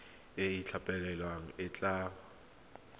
e e itlhophileng e tla